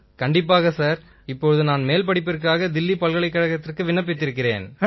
ஆமாம் சார் இப்போது நான் மேல் படிப்பிற்காக தில்லி பல்கலைக்கழகத்திற்கு விண்ணப்பித்திருக்கிறேன்